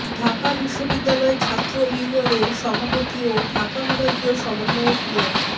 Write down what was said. ঢাকা বিশ্ববিদ্যালয় ছাত্র ইউনিয়নের সভাপতি ও ঢাকা বিভাগীয় সমন্বয়ক মো